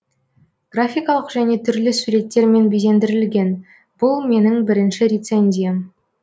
графикалық және түрлі суреттермен безендірілген бұл менің бірінші рецензиям